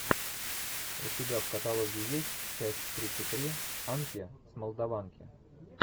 у тебя в каталоге есть часть тридцать три анки с молдаванки